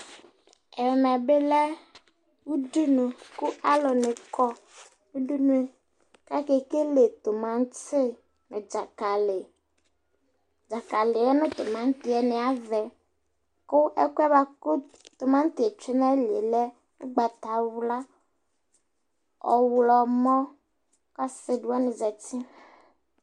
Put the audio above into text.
ɛmɛ bi lɛ udunu kò alo ni kɔ udunu k'ake kele tomati dzakali dzakaliɛ no tomatiɛ ni avɛ kò ɛkoɛ boa kò tomatiɛ tsue n'ayilie lɛ ugbata wla ɔwlɔmɔ ase wani zati